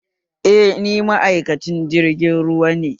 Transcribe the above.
Eh, ni ma'aikacin jirgin ruwa ne